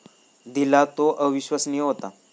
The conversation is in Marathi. दिला तो अविश्वसनीय होता.